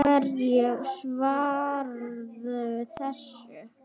Hverju svararðu þessu?